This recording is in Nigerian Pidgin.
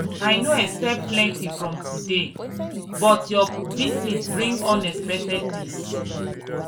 i no expect plenty from today but your visit bring unexpected peace.